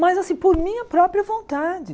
Mas assim, por minha própria vontade.